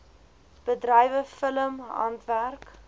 bedrywe film handwerk